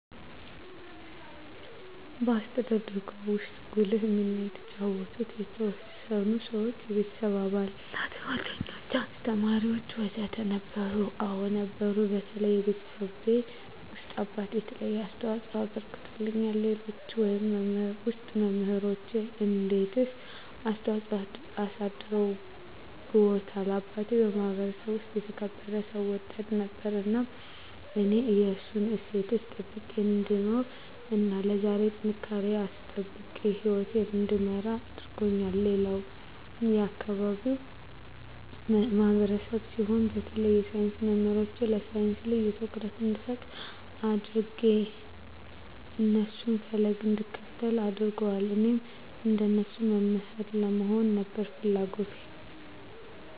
በአስተዳደግዎ ውስጥ ጉልህ ሚና የተጫወቱ የተወሰኑ ሰዎች (የቤተሰብ አባላት፣ ጓደኞች፣ አስተማሪዎች ወዘተ) ነበሩ? አዎ ነበሩ በተለይ ቤተሰቤ ውስጥ አባቴ የተለየ አስተዋፅኦ አበርክቶልኛል ሌሎች ውስጥ መምራኖቼ እንዴትስ ተጽዕኖ አሳድረውብዎታል አባቴ የማህበረሰቡ ውስጥ የተከበረ ሰው ወዳድ ነበር እናም እኔም የእሱን እሴቶች ጠብቄ እንድኖር እና ለዛሬ ጥንካሬየን አስጠብቄ ህይወቴን እንድመራ አድርጎኛል ሌላም የአካባቢው ማህበረሰብ ሲሆን በተለይ የሳይንስ መምህሮቼ ለሳይንስ ልዬ ትኩረት እንድሰጥ አድጌ የእነሱን ፈለግ እንድከተል አድርገዋል እኔም እንደነሱ መምህር ለመሆን ነበር ፍለጎቴ